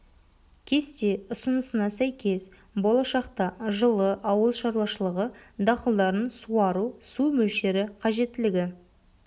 кесте ұсынысына сәйкес болашақта жылы ауыл шаруашылығы дақылдарын суару су мөлшері қажеттілігі